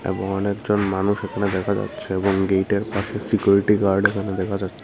এবং অনেকজন মানুষ এখানে দেখা যাচ্ছে এবং গেইটের পাশে সিকিউরিটি গার্ড এখানে দেখা যাচ্ছে।